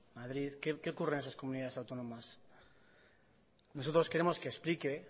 madrid qué ocurre en esas comunidades autónomas nosotros queremos que explique